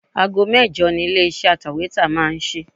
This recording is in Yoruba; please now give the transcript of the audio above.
Aago mẹ́jọ ni ilé iṣẹ́ atẹ̀wétà máa ń sí.